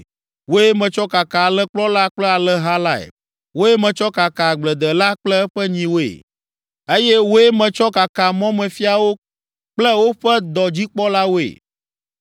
Wòe metsɔ kaka alẽkplɔla kple alẽha lae, wòe metsɔ kaka agbledela kple eƒe nyiwoe eye wòe metsɔ kaka mɔmefiawo kple woƒe dɔdzikpɔlawoe.